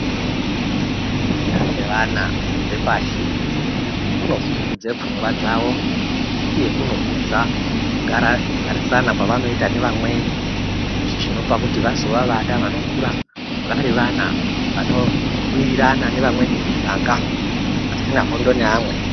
Kufunda kwevana vepashi, kuno pfudze pfungwa dzawo, uye kunokudza garisana kwavanoyita nevamweni, chizvino pakuti vazova vada panokura varivana, vanowirirana nevamweni mumiganga, vasina hondo ne amwe.